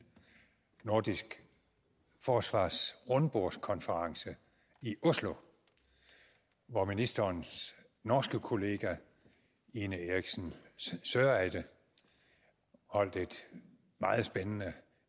nordisk forsvarsrundbordskonference i oslo hvor ministerens norske kollega ine eriksen søreide holdt et meget spændende